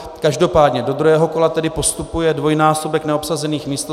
Každopádně do druhého kola tedy postupuje dvojnásobek neobsazených míst.